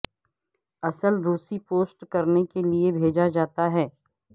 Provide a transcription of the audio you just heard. اصل روسی پوسٹ کرنے کے لئے بھیجا جاتا ہے